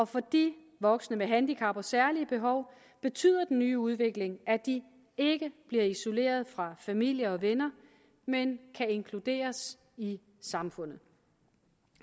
for de voksne med handicap og særlige behov betyder den nye udvikling at de ikke bliver isoleret fra familie og venner men kan inkluderes i samfundet